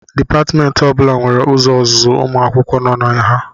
Dipatmentị ọ bụla nwere ụzọ ọzụzụ ụmụ akwụkwọ nọ na ha